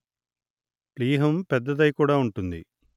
ప్లీహం పెద్దదై కూడా ఉంటుంది